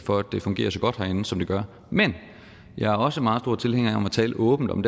for at det fungerer så godt herinde som det gør men jeg er også meget stor tilhænger af at tale åbent om